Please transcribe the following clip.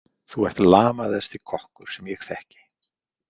Þú ert lamaðasti kokkur sem ég þekki.